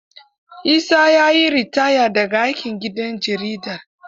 Isa ya yi ritaya da ga aikin gidan jaridar.